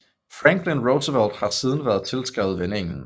Franklin Roosevelt har siden været tilskrevet vendingen